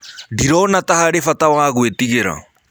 Ndĩrona ta harĩ bata wa gwĩtĩgĩra.